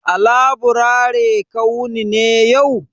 A laburare ka wuni ne yau?